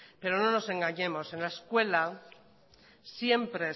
pero no nos engañemos en la escuela siempre